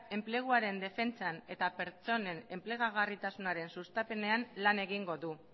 enpleguaren defentsan eta pertsonen enplegarritasunaren sustapenean lan egingo du